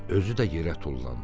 Özü də yerə tullandı.